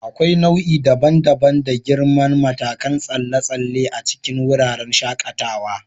Akwai nau'i daban-daban da girman matakan tsalle tsalle a cikin wurin shakatawa.